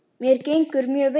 Mér gengur mjög vel.